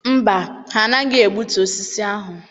Mba, ha anaghị egbutu osisi ahụ.